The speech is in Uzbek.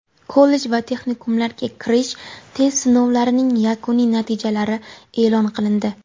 Kollej va texnikumlarga kirish test sinovlarining yakuniy natijalari eʼlon qilindi.